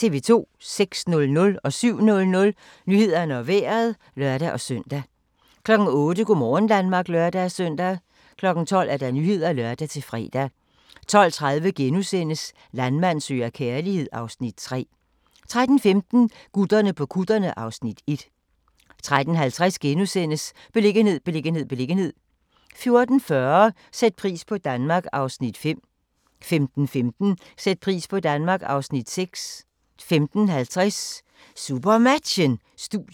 06:00: Nyhederne og Vejret (lør-søn) 07:00: Nyhederne og Vejret (lør-søn) 08:00: Go' morgen Danmark (lør-søn) 12:00: Nyhederne (lør-fre) 12:30: Landmand søger kærlighed (Afs. 3)* 13:15: Gutterne på kutterne (Afs. 1) 13:50: Beliggenhed, beliggenhed, beliggenhed * 14:40: Sæt pris på Danmark (Afs. 5) 15:15: Sæt pris på Danmark (Afs. 6) 15:50: SuperMatchen: Studiet